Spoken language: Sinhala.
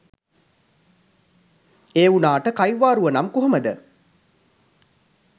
ඒ වුනාට කයිවාරුව නම් කොහොමද.